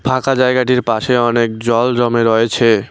ফাঁকা জায়গাটির পাশে অনেক জল জমে রয়েছে।